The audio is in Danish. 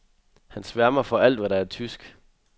Han sværmer for alt, hvad der er tysk.